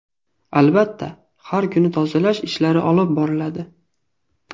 Albatta, har kuni tozalash ishlari olib boriladi.